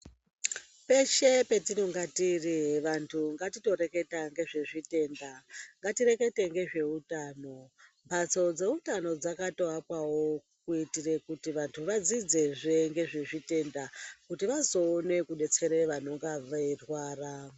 Peshe patinonga tiri vantu ngatito reketa ngezvezvitenda, ngatirekete ngezveutano. Mphatso dzeutano dzakatoakwawo kuitire kuti vantu vadzidzezve ngezve zvitenda, kuti vazoone kudetsere vanonga veirwara.